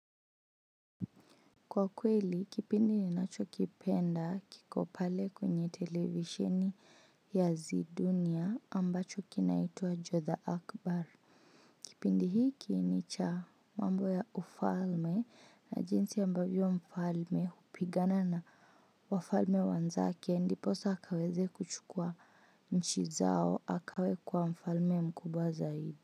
Kwa kweli, kipindi ni nacho kipenda, kikopale kwenye televisheni, ya zidunia ambacho kinaitwa Jotha Akbar. Kipindi hiki, ni cha, mambo ya ufalme, na jinsi ambavyo mfalme, hupigana na wafalme wanzake. Ndiposa akaweze kuchukua nchi zao, akawe kuwa mfalme mkubwa zaidi.